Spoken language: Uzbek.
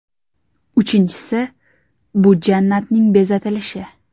Uchinchisi: bu jannatning bezatilishi.